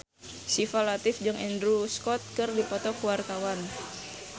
Syifa Latief jeung Andrew Scott keur dipoto ku wartawan